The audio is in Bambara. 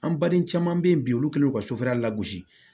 An baden caman bɛ yen bi olu kɛlen don ka sofɛrila lagosi